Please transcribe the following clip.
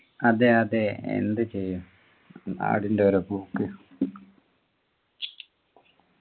അതെ അതെ എന്ത് ചെയ്യും നാടിൻ്റെ ഓരോ പോക്ക്